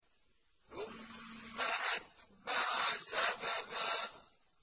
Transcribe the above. ثُمَّ أَتْبَعَ سَبَبًا